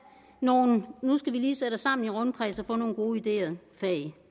nogle nu skal vi lige sætte os sammen i rundkreds og få nogle gode ideer fag